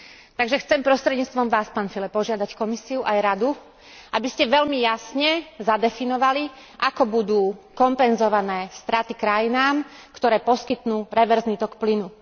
Takže chcem prostredníctvom vás, pán Füle, požiadať Komisiu aj Radu, aby ste veľmi jasne zadefinovali, ako budú kompenzované straty krajinám, ktoré poskytnú reverzný tok plynu.